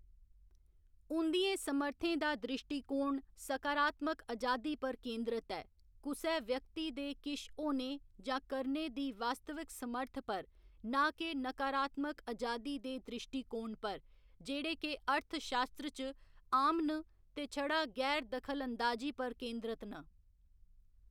उं'दियें समर्थें दा द्रिश्टीकोण सकारात्मक अजादी पर केंदरत ऐ, कुसै व्यक्ति दे किश होने जां करने दी वास्तवक समर्थ पर, ना के नकारात्मक अजादी दे द्रिश्टीकोण पर, जेह्‌‌ड़े के अर्थशास्त्र च आम न ते छड़ा गैर दखलअंदाजी पर केंदरत न।